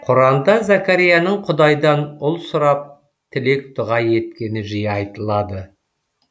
құранда зәкәрияның құдайдан ұл сұрап тілек дұға еткені жиі айтылады